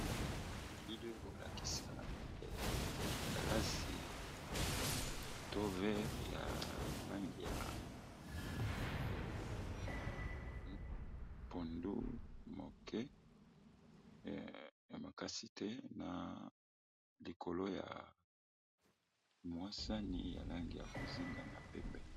Elili eza kolakisa galasi to verre ya langi ya pondu moke ya makasite, na likolo ya mwasani ya langi ya bozinga na pembe.